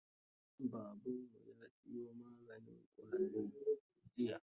Babanmu ya siyo maganin ƙwari jiya.